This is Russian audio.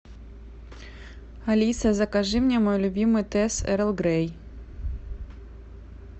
алиса закажи мне мой любимый тесс эрл грей